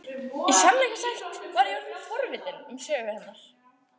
Í sannleika sagt var ég orðin forvitin um sögu hennar.